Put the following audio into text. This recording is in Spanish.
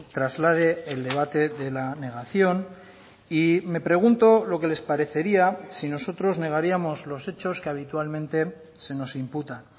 traslade el debate de la negación y me pregunto lo que les parecería si nosotros negaríamos los hechos que habitualmente se nos imputan